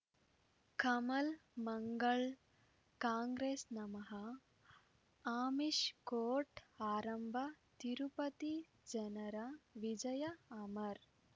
ಕಮಲ್ ಮಂಗಳ್ ಕಾಂಗ್ರೆಸ್ ನಮಃ ಆಮಿಷ್ ಕೋರ್ಟ್ ಆರಂಭ ತಿರುಪತಿ ಜನರ ವಿಜಯ ಅಮರ್